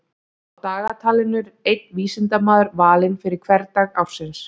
Á dagatalinu er einn vísindamaður valinn fyrir hvern dag ársins.